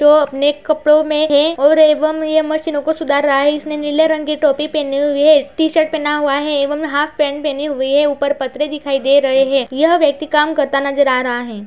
तो अपने कपड़ो में है और एवं ये मशीनों को सुधार रहा है। इसने नीले रंग की टोपी पेनी हुई है टीशर्ट पेना हुआ है एवं हाफ पेंट पेनी हुई है ऊपर दिखाई दे रहे हैं। यह व्यक्ति काम करता नजर आ रहा है।